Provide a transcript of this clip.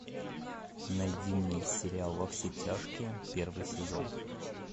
найди мне сериал во все тяжкие первый сезон